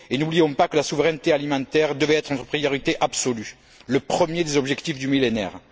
N'oublions pas que la souveraineté alimentaire devait être notre priorité absolue, le premier des objectifs du Millénaire.